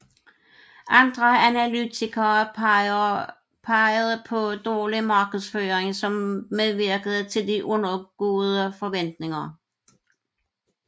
Andre analytikere pegede på dårlig markedsføring som medvirkende til de undergåede forventninger